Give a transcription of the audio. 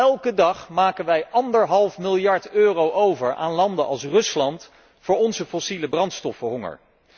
Elke dag maken wij anderhalf miljard euro over aan landen als Rusland voor onze fossiele brandstoffenhonger.